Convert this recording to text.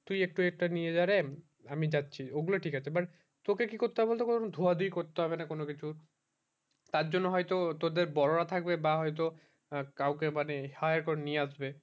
তুই একটু একটা নিয়ে যা রে আমি যাচ্ছি ওই গুলো ঠিক আছে but তোকে কি করতে হবে বল তো ধুয়া ধুয়ি করতে হবে না কোনো কিছু তার জন্য হয় তো তোদের বড়োরা থাকবে বা হয়ে তো কাউকে মানে hire করে নিয়ে আসবে